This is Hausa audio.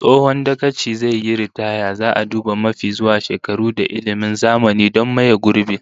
Tsohon dagacin zai yi ritaya, zaa duba mafi zuwa shekaru da ilmin zamani don maye gurbin